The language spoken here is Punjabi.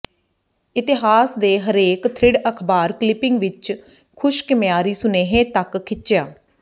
ਇਤਿਹਾਸ ਦੇ ਹਰੇਕ ਥਰਿੱਡ ਅਖਬਾਰ ਕਲੀਪਿੰਗ ਵਿਚ ਖੁਸ਼ਕ ਮਿਆਰੀ ਸੁਨੇਹੇ ਤੱਕ ਖਿੱਚਿਆ